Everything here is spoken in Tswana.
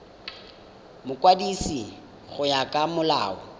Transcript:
mokwadisi go ya ka molao